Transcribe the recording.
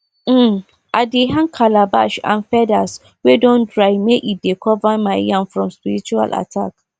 um i dey hang calabash and feathers wey don dry make e dey cover my yam from spiritual attack